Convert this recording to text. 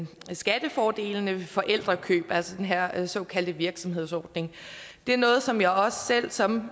skattefordelene ved forældrekøb altså den her såkaldte virksomhedsordning det er noget som jeg også selv som